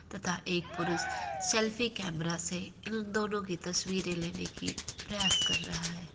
तथा एक पुरुष सेल्फ़ी केमरा से इन दोनों की तस्वीरे लेने की प्रयास कर रहा है।